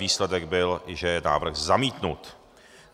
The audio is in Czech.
Výsledek byl, že je návrh zamítnut.